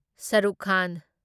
Shah Rukh Khan